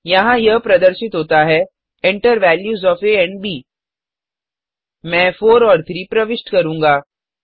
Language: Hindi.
यहाँ यह प्रदर्शित होता है Enter वैल्यूज ओएफ आ एंड ब मैं 4 और 3 प्रविष्ट करूँगा